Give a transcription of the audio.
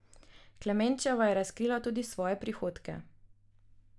Klemenčeva je razkrila tudi svoje prihodke.